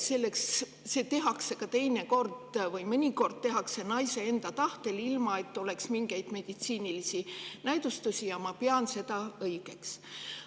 Seda tehakse mõnikord naise enda tahtel, ilma et oleks mingeid meditsiinilisi näidustusi, ja ma pean seda õigeks.